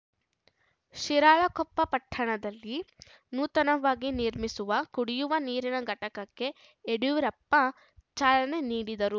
ಶಿರಾಳಕೊಪ್ಪ ಪಟ್ಟಣದಲ್ಲಿ ನೂತನವಾಗಿ ನಿರ್ಮಿಸುವ ಕುಡಿಯುವ ನೀರಿನ ಘಟಕಕ್ಕೆ ಯಡಿಯೂರಪ್ಪ ಚಾಲನೆ ನೀಡಿದರು